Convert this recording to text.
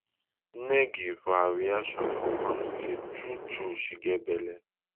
nengi for her reaction confam say truetrue she get belle